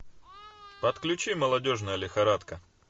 подключи молодежная лихорадка